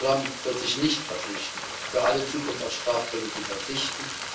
Trump wird sich nicht verpflichten, für alle Zukunft auf Strafzölle zu verzichten.